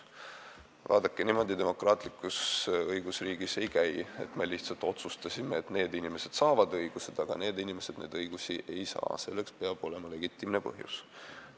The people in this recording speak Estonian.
Vaadake, niimoodi demokraatlikus õigusriigis asjad ei käi, et me lihtsalt otsustasime, et ühed inimesed saavad õigused, aga teised inimesed neid õigusi ei saa – selleks peab olema legitiimne põhjus.